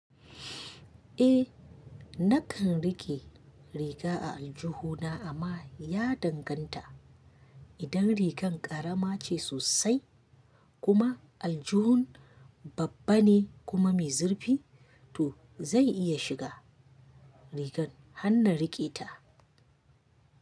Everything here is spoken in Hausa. Eh nakan rike riga a aljuhu na amma ya danganta. Idan rigar ƙarama ce sosai kuma aljihun babban ne kuma mai zurfi to zai iya shiga rigan, hannan rike ta.